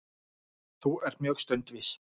Þú ert mjög stundvís.